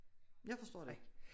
Jeg forstår det ikke